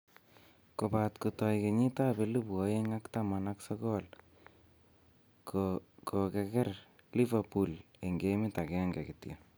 Kobat kotoi kenyitab elebu oeng ak taman ak sokol kogeger Liverpool eng gemit agenge kityo